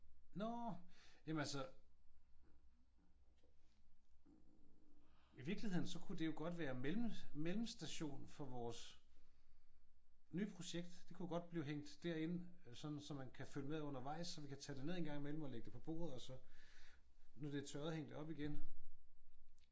Nå! Jamen altså i virkeligheden så kunne det jo godt være mellemstationen for vores nye projekt. Det kunne jo godt blive hængt derind. Sådan så man kan følge med undervejs. Så vi kan tage det ned en gang i mellem og lægge det på bordet og sår det er tørret hænge det op igen